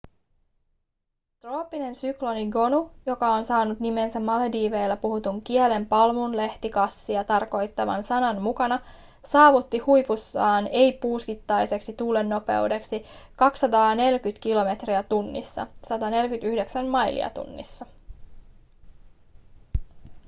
trooppinen sykloni gonu joka on saanut nimensä malediiveilla puhutun kielen palmunlehtikassia tarkoittavan sanan mukana saavutti huipussaan ei-puuskittaiseksi tuulennopeudeksi 240 kilometriä tunnissa 149 mailia tunnissa